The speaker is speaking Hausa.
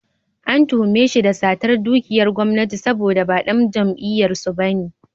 An tuhume shi da satar dukiyar gwamnati saboda ba ɗan jam'iyyar su ba ne.